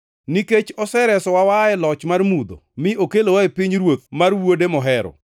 Nikech oseresowa waa e loch mar mudho mi okelowa e pinyruoth mar Wuode mohero,